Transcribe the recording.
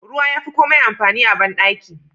Ruwa yafi komai amfani a bandaki.